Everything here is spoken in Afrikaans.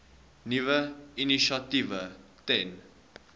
nuwe initiatiewe ten